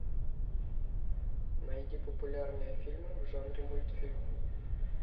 найди популярные фильмы в жанре мультфильм